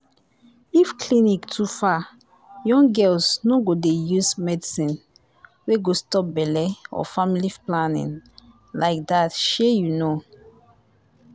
if clinic too far young girls no go dey use medicine wey go stop belle or family planning like that shey you know